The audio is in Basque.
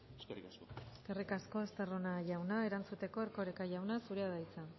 eskerrik asko eskerrik asko estarrona jauna erantzuteko erkoreka jauna zurea da hitza